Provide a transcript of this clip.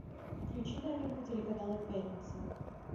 включи новинку телеканала пятница